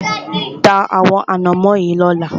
Ta àwọn ànámọ́ yìí lọ́la!